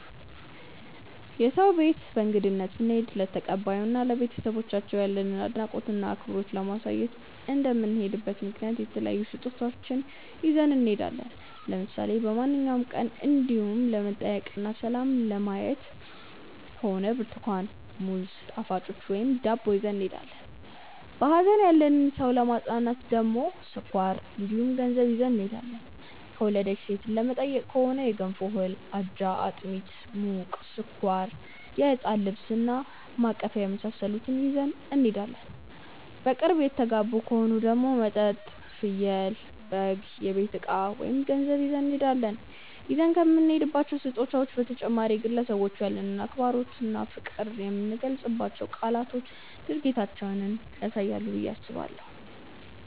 የሰው ቤት በእንግድነት ስንሄድ ለተቀባዩ እና ለቤተሰቦቻቸው ያለንን አድናቆት እና አክብሮት ለማሳየት እንደምንሄድበት ምክንያት የተለያዩ ስጦታዎችን ይዘን እንሄዳለን። ለምሳሌ በማንኛውም ቀን እንዲው ለመጠያየቅ እና ሰላም ለማየት ከሆነ ብርትኳን፣ ሙዝ፣ ጣፋጮች ወይም ዳቦ ይዘን እንሄዳለን። በሀዘን ያለን ሰው ለማፅናናት ከሆነ ስኳር እንዲሁም ገንዘብ ይዘን እንሄዳለን። የወለደች ሴትን ለመጠየቅ ከሆነ የገንፎ እህል፣ አጃ፣ አጥሚት (ሙቅ)፣ስኳር፣ የህፃን ልብስ እና ማቀፊያ የመሳሰሉትን ይዘን እንሄዳለን። በቅርብ የተጋቡ ከሆኑ ደግሞ መጠጥ፣ ፍየል/በግ፣ የቤት እቃ ወይም ገንዘብ ይዘን እንሄዳለን። ይዘን ከምንሄዳቸው ስጦታዎች በተጨማሪ ግን ለሰዎቹ ያለንን አክብሮት እና ፍቅር የምንናገራቸው ቃላትና ድርጊታችንም ያሳያሉ ብዬ አስባለሁ።